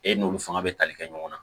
E n'olu fanga bɛ tali kɛ ɲɔgɔn na